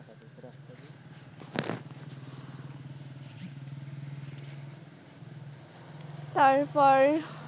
তারপর,